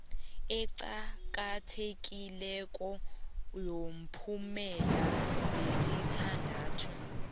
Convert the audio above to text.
eqakathekileko yomphumela yesithandathu